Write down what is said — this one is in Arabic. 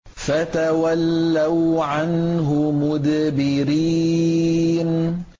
فَتَوَلَّوْا عَنْهُ مُدْبِرِينَ